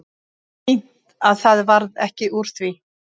Fínt að það varð ekki úr því.